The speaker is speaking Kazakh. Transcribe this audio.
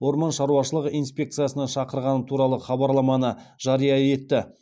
орман шаруашылығы инспекциясына шақырғаны туралы хабарламаны жария етті